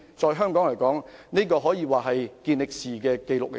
對於香港來說，這可說是一項健力士紀錄。